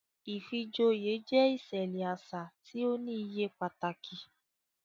Ìfijoyé jẹ iṣẹlẹ aṣa ti o ni iye pataki